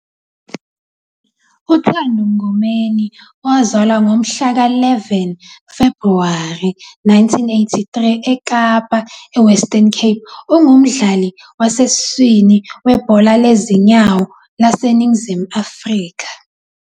UThando Mngomeni, owazalwa ngomhlaka-11 Febhuwari 1983 eKapa, eWestern Cape, ungumdlali wasesiswini webhola lezinyawo laseNingizimu Afrika.